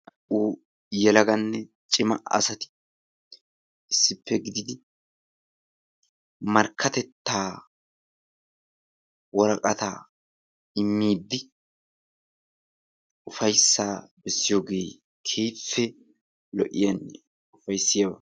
Naa''u yeelagane ciima asaati issipe gididi markkatettaa woraqataa immiidi ufayssa beessiyoge keehipe lo'iyanne ufayssiyaba.